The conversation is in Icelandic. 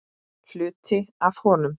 Hluti af honum.